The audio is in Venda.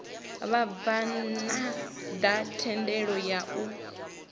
vhabvann ḓa thendelo ya u